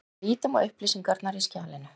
En lítum á upplýsingarnar í skjalinu.